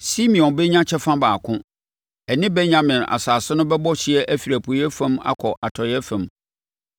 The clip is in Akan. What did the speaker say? Simeon bɛnya kyɛfa baako, ɛne Benyamin asase no bɛbɔ hyeɛ afiri apueeɛ fam akɔ atɔeɛ fam.